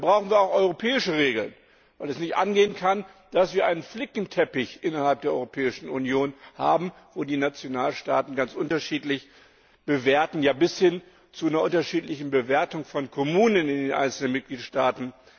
Da brauchen wir auch europäische Regeln, weil es nicht angehen kann, dass wir einen Flickenteppich innerhalb der Europäischen Union haben, wo die Nationalstaaten ganz unterschiedlich bewerten, ja bis hin zu einer unterschiedlichen Bewertung von Kommunen in den einzelnen Mitgliedstaaten.